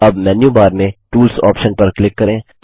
अब menu bar में tools option पर क्लिक करें